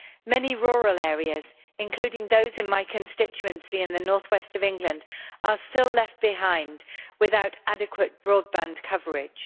Many rural areas, including those in my constituency in North West England, are still left behind without adequate broadband coverage.